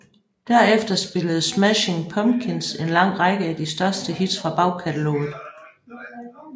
Derefter spillede Smashing Pumpkins en lang række af de største hits fra bagkataloget